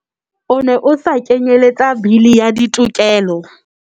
O ne o sa kenyeletsa Bili ya Ditokelo.